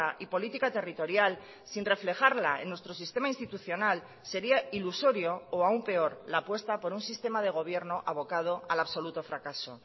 y política territorial sin reflejarla en nuestro sistema institucional sería ilusorio o aún peor la apuesta por un sistema de gobierno abocado al absoluto fracaso